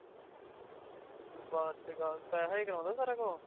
ਬਾਤ ਤੇ ਗੱਲ ਪੇਹਾ ਹੀ ਕਰਾਂਦਾ ਸਾਰੀਆਂ ਕੋਲੋਂ